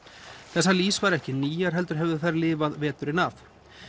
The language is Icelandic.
þessar lýs væru ekki nýjar heldur hefðu þær lifað veturinn af